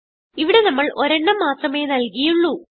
ഇവിടെ നമ്മൾ ഒരെണ്ണം മാത്രമേ നൽകിയുള്ളൂ